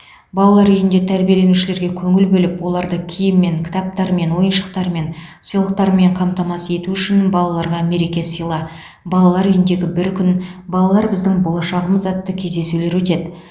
балалар үйінде тәрбиеленушілерге көңіл бөліп оларды киіммен кітаптармен ойыншықтармен сыйлықтармен қамтамасыз ету үшін балаларға мереке сыйла балалар үйіндегі бір күн балалар біздің болашағымыз атты кездесулер өтеді